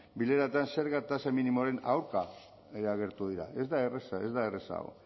bileretan zerga tasa minimoaren aurka agertu dira ez da erraza ez da erraza hau